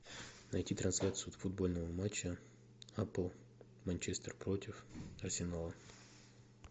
найти трансляцию футбольного матча апл манчестер против арсенала